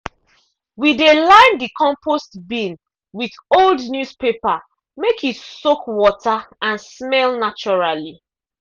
we dey line the compost bin with old newspaper make e soak water and smell naturally.